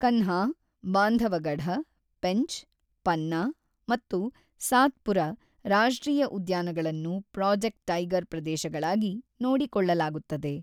ಕನ್ಹಾ, ಬಾಂಧವಗಢ, ಪೆಂಚ್, ಪನ್ನಾ ಮತ್ತು ಸಾತ್ಪುರ ರಾಷ್ಟ್ರೀಯ ಉದ್ಯಾನಗಳನ್ನು ಪ್ರಾಜೆಕ್ಟ್ ಟೈಗರ್ ಪ್ರದೇಶಗಳಾಗಿ ನೋಡಿಕೊಳ್ಳಲಾಗುತ್ತದೆ.